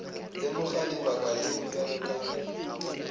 lemoga lebaka leo bjale ka